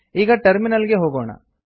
ಈಗ ಟರ್ಮಿನಲ್ ಗೆ ಹೋಗೋಣ